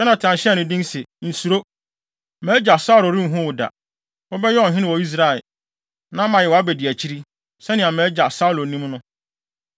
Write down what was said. Yonatan hyɛɛ no den se, “Nsuro! Mʼagya Saulo renhu wo da. Wobɛyɛ ɔhene wɔ Israel, na mayɛ wʼabediakyiri, sɛnea mʼagya Saulo nim no.”